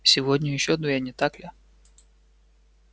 сегодня ещё две не так ли